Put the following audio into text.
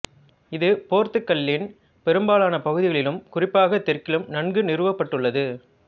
இது போர்த்துக்கல்லின் பெரும்பாலான பகுதிகளிலும் குறிப்பாக தெற்கிலும் நன்கு நிறுவப்பட்டுள்ளது